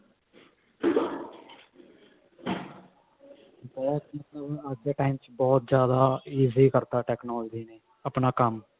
ਉਹ ਚੀਜ਼ ਤਾਂ ਅੱਜ ਦੇ time ਚ ਬਹੁਤ ਜ਼ਿਆਦਾ easy ਕਰਤਾ technology ਨੇ ਆਪਣਾ ਕੰਮ